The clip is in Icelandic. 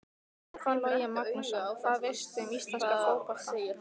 Stefán Logi Magnússon Hvað veistu um íslenska fótbolta?